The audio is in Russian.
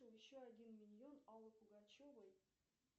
еще один миньон аллы пугачевой